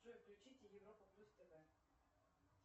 джой включите европа плюс тв